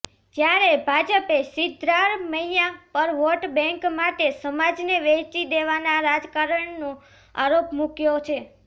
જ્યારે ભાજપે સિદ્ધારમૈયા પર વોટ બેન્ક માટે સમાજને વહેંચી દેવાના રાજકારણનો આરોપ મૂકયો છે